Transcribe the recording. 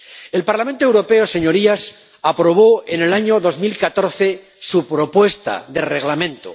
El Parlamento Europeo, señorías, aprobó en el año 2014 su propuesta de Reglamento.